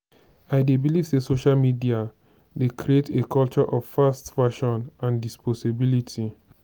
i dey believe say social media dey create a culture of fast fashion and disposability.